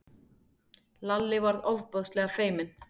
Lalli varð ofboðslega feiminn.